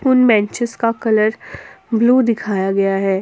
उन बेंचेज का colour blue दिखाया गया है।